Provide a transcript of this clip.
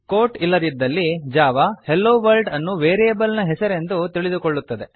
coat ಇಲ್ಲದಿದ್ದಲ್ಲಿ Java hello world ಅನ್ನು variable ನ ಹೆಸರೆಂದು ತಿಳಿದುಕೊಳ್ಳುತ್ತದೆ